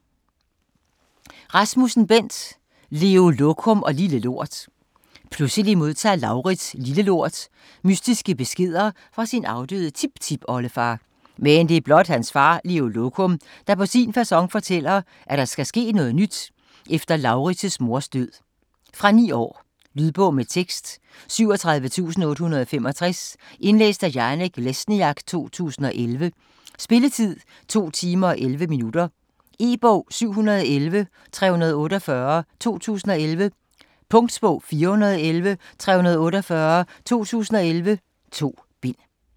Rasmussen, Bent: Leo Lokum og Lille Lort Pludselig modtager Laurids, Lille Lort, mystiske beskeder fra sin afdøde tiptipoldefar. Men det er blot hans far Leo Lokum, der på sin facon fortæller, at der skal ske noget nyt efter Laurids' mors død. Fra 9 år. Lydbog med tekst 37865 Indlæst af Janek Lesniak, 2011. Spilletid: 2 timer, 11 minutter. E-bog 711348 2011. Punktbog 411348 2011. 2 bind.